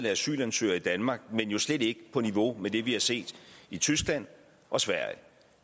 af asylansøgere i danmark men jo slet ikke på niveau med det vi har set i tyskland og sverige